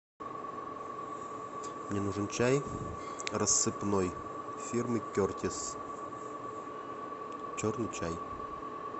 мне нужен чай рассыпной фирмы кертис черный чай